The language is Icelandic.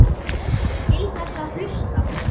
Til þess að hlusta.